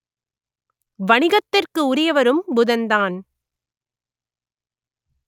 வணிகத்திற்கு உரியவரும் புதன்தான்